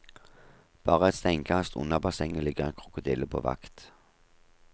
Bare et steinkast unna bassenget ligger en krokodille på vakt.